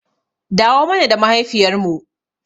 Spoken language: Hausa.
Dawo mana da mahaifiyar mu